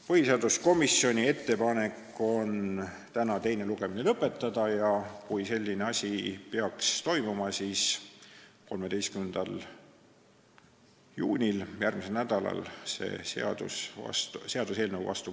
Põhiseaduskomisjoni ettepanek on eelnõu teine lugemine täna lõpetada ja kui selline asi peaks juhtuma, siis võtta 13. juunil, järgmisel nädalal, see eelnõu seadusena vastu.